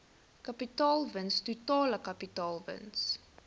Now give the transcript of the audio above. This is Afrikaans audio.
kapitaalwins totale kapitaalwins